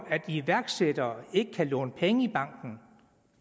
at iværksættere ikke kan låne penge i banken